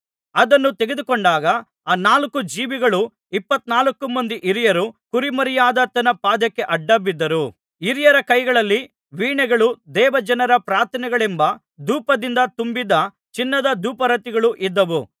ಅದನ್ನು ತೆಗೆದುಕೊಂಡಾಗ ಆ ನಾಲ್ಕು ಜೀವಿಗಳೂ ಇಪ್ಪತ್ನಾಲ್ಕು ಮಂದಿ ಹಿರಿಯರೂ ಕುರಿಮರಿಯಾದಾತನ ಪಾದಕ್ಕೆ ಅಡ್ಡ ಬಿದ್ದರು ಹಿರಿಯರ ಕೈಗಳಲ್ಲಿ ವೀಣೆಗಳೂ ದೇವಜನರ ಪ್ರಾರ್ಥನೆಗಳೆಂಬ ಧೂಪದಿಂದ ತುಂಬಿದ್ದ ಚಿನ್ನದ ಧೂಪಾರತಿಗಳೂ ಇದ್ದವು